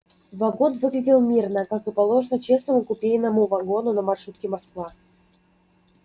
вагон выглядел мирно как и положено честному купейному вагону на маршруте москва